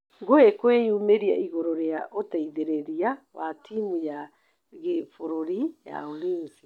Ngũi kwĩyumĩria igũrũ rĩa ũteithĩrĩria wa timu ya gĩbururĩ ya Ulinzi.